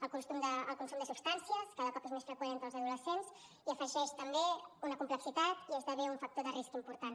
el consum de substàncies cada cop és més freqüent entre els adolescents i afegeix també una complexitat i esdevé un factor de risc important